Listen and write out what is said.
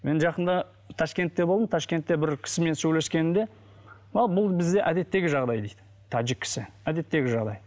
мен жақында ташкентте болдым ташкентте бір кісімен сөйлескенімде а бұл бізді әдеттегі жағдай дейді тәжік кісі әдеттегі жағдай